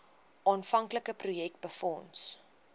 aanvanklike projek befonds